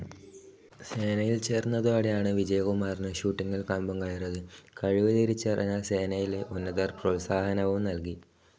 സേനയിൽ ചേർന്നതോടെയാണ് വിജയകുമാറിന് ഷൂട്ടിങ്ങിൽ കമ്പംകയറിയത്. കഴിവ് തിരിച്ചറിഞ്ഞ സേനയിലെ ഉന്നതർ പ്രോത്സാഹനവും നൽകി.